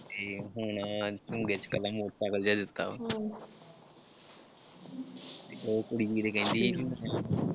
ਤੇ ਹੁਣ ਵਿਚ ਕੱਲ੍ਹਾ ਮੋਟਰ ਸਾਈਕਲ ਜਿਹਾ ਦਿੱਤਾ ਵਾ ਉਹ ਕੁੜੀ ਕਿਤੇ ਕਹਿੰਦੀ ਸੀ